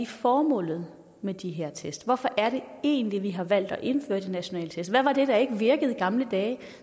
formålet med de her test hvorfor er det egentlig at vi har valgt at indføre de nationale test hvad var det der ikke virkede i gamle dage